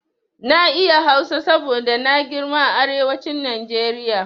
Na iya Hausa saboda na girma a arewacin Najeriya.